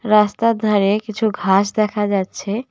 রাস্তার ধারে কিছু ঘাস দেখা যাচ্ছে।